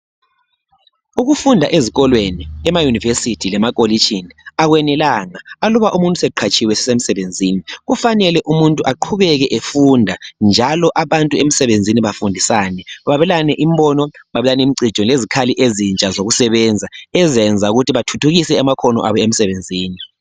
Ukufunda ezikolweni, emayunivesithi lemakolitshini akwenelanga aluba umuntu eseqhatshiwe esesemsebenzini kufanele aqhubeke efunda njalo abantu emsebenzini bafundisane babelane imbono babelane imicijo lezikhali ezintsha zokusebenza ezizayenza ukuthi bathuthukise amakhono abo emsebenzini.